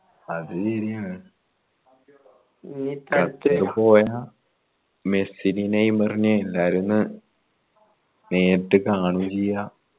അത് ശരിയാണ് പോയ മെസ്സിനെയും നെയ്മറിനെ എല്ലാവരെയും ഒന്ന് നേരിട്ട് കാണുവും ചെയ്യാ